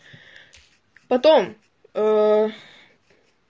потом ээ